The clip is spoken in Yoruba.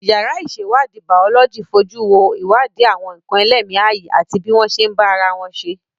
Yàrá ìṣèwádìí Bàọ́lọ́jì fojú wo ìwádìí àwọn nǹkan ẹlẹ́mìí ààyè àti bí wọ́n ṣe ń bá ara wọn ṣe